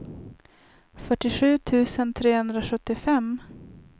fyrtiosju tusen trehundrasjuttiofem